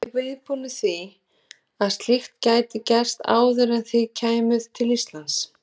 Voruð þið viðbúnir því að slíkt gæti gerst áður en þið komuð til Íslands?